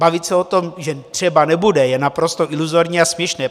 Bavit se o tom, že třeba nebude, je naprosto iluzorní a směšné.